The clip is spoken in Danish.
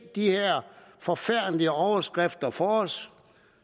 de her forfærdelige overskrifter for os